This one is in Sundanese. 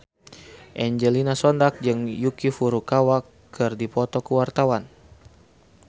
Angelina Sondakh jeung Yuki Furukawa keur dipoto ku wartawan